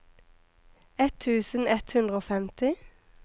ett tusen ett hundre og femti